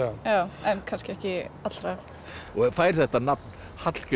en kannski ekki allra og fær þetta nafn Hallgrímur